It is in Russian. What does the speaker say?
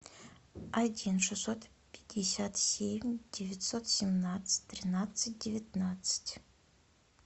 один шестьсот пятьдесят семь девятьсот семнадцать тринадцать девятнадцать